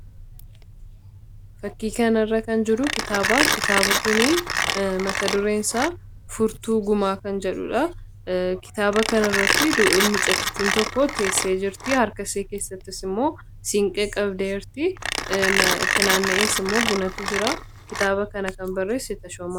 Fakkii kana irratti kan jiru kitaaba kitaaba kunii matadureensaa furtuu gumaa kan jedhudha. Kitaaba kana irratti mucattiin tokko teessee jirti harka see keessattis immoo siinqe qabdee jirti.